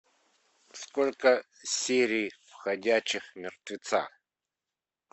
сколько серий в ходячих мертвецах